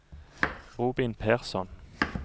Robin Persson